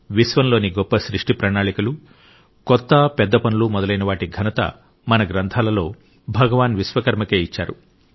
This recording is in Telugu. విశ్వంలోని గొప్ప సృష్టి ప్రణాళికలు కొత్త పెద్ద పనులు మొదలయిన వాటి ఘనత మన గ్రంథాలలో భగవాన్ విశ్వకర్మకే ఇచ్చారు